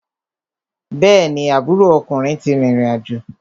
Bẹ́ẹ̀ni, aburo ọkùnrin ti rìrìn àjò.